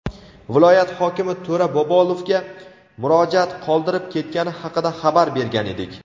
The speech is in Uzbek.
viloyat hokimi To‘ra Bobolovga murojaat qoldirib ketgani haqida xabar bergan edik.